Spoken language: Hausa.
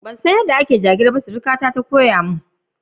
Ban san yada ake sa layin ido ba, suruka na ne ta koya mun.